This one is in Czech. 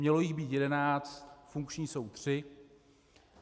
Mělo jich být jedenáct, funkční jsou tři.